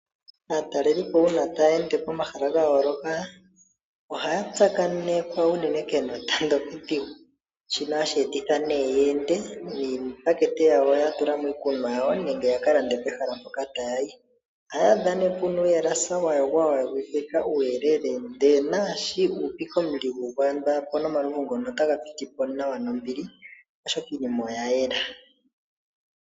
Aatalelipo uuna taya ende pomahala ga yooloka ohaya tsakanekwa unene kenota ndoka edhigu ,shono hashi etitha nee ye ende niipakete yawo yatulamo iikunwa yawo nenge ya kalande pehala mpoka ta yayi . Oha ya adha nee pena uuhalasa wa yogwa uuyelele ndele naashoka u upika omuligu apone omalovu otaga pitipo nawa nombili oshoka iinima oya yela.